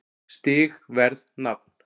Stig Verð Nafn